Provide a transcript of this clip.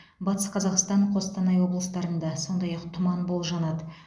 батыс қазақстан қостанай облыстарында сондай ақ тұман болжанады